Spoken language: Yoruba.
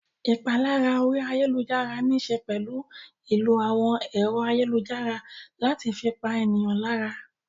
Ìpalára orí ayálujára níṣe pẹ̀lú ìlò àwọn ẹ̀rọ ayélujára láti fi pa ènìyàn lára.